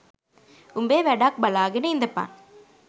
උඹේ වැඩක් බලාගෙන ඉඳපන්